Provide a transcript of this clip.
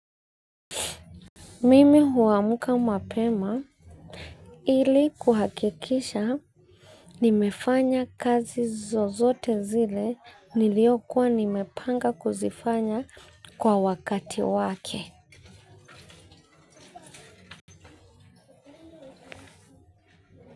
Mimi huamka mapema ili kuhakikisha nimefanya kazi zozote zile niliyokuwa nimepanga kuzifanya, kwa wakati wake.